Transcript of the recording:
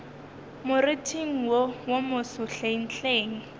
moriting wo wo moso hlenghleng